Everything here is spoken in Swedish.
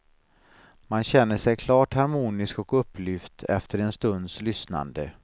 Man känner sig klart harmonisk och upplyft efter en stunds lyssnande.